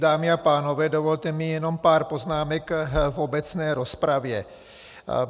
Dámy a pánové, dovolte mi jenom pár poznámek v obecné rozpravě.